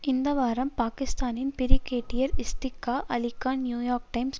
இந்த வாரம் பாகிஸ்தானின் brigadier Ishtiaq Ali Khan New York times